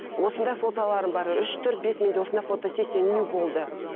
осындай фотоларым бар үш төрт бес менде осындай фотосессия нью болды